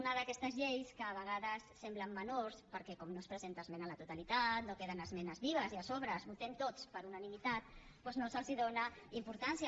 una d’aquestes lleis que a vegades semblen menors perquè com que no es presenten esmenes a la totalitat no queden esmenes vives i a sobre les votem tots per unanimitat doncs no se’ls dóna importància